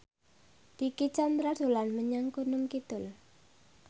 Dicky Chandra dolan menyang Gunung Kidul